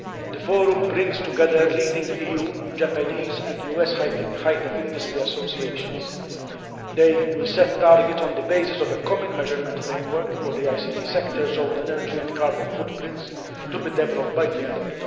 The Forum brings together leading EU, Japanese and US high tech industry associations. They will set targets on the basis of a common measurement framework for the ICT sector's own energy and carbon footprints, to be developed by the end of